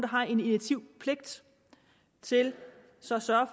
har en initiativpligt til så så